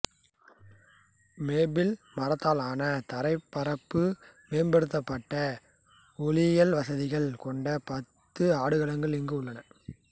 maple மரத்தாலான தரைப்பரப்பு மேம்படுத்தப்பட்ட ஒலியியல் வசதிகள் கொண்ட பத்து ஆடுகளங்கள் இங்கு உள்ளன